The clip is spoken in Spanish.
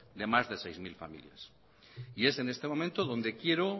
de más de seis mil familias y es en este momento donde quiero